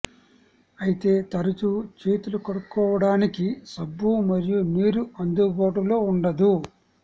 అయితే తరచూ చేతులు కడుక్కోవడానికి సబ్బు మరియు నీరు అందుబాటులో ఉండదు